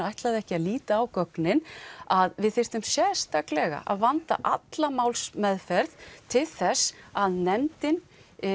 ætlaði ekki að líta á gögnin að við þyrftum sérstaklega að vanda alla málsmeðferð til þess að nefndin